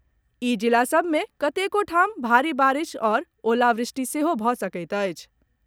ई जिला सभ मे कतेको ठाम भारि बारिश आओर ओलावृष्टि सेहो भऽ सकैत अछि।